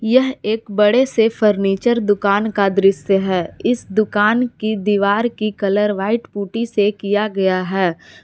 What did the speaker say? यह एक बड़े से फर्नीचर दुकान का दृश्य है इस दुकान की दीवार की कलर व्हाइट पुट्टी से किया गया है।